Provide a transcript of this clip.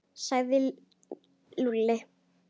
Hvað sagði Lúlli?